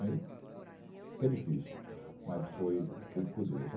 Aí, que é difícil, mas foi tudo por Deus.